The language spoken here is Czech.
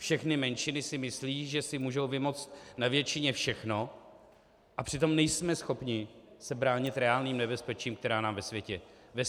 Všechny menšiny si myslí, že si můžou vymoct na většině všechno, a přitom nejsme schopni se bránit reálným nebezpečím, která nám ve světě hrozí.